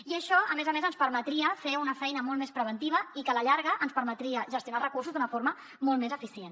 i això a més a més ens permetria fer una feina molt més preventiva i que a la llarga ens permetria gestionar els recursos d’una forma molt més eficient